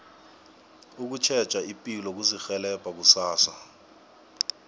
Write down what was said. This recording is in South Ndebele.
ukutjheja ipilo kuzirhelebha kusasa